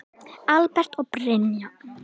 Albert og Brynja.